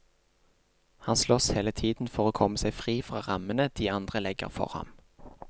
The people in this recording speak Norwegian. Han slåss hele tiden for å komme seg fri fra rammene de andre legger for ham.